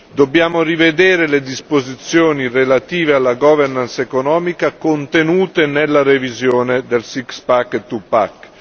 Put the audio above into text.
Dobbiamo rivedere le disposizioni relative alla economica contenute nella revisione del six pack e two pack.